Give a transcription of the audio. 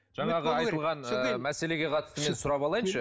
жаңағы айтылған ыыы мәселеге қатысты мен сұрап алайыншы